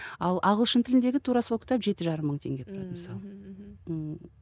ал ағылшын тіліндегі тура сол кітап жеті жарым мың теңге тұрады мысалы ммм мхм